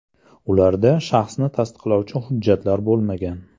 Ularda shaxsni tasdiqlovchi hujjatlar bo‘lmagan.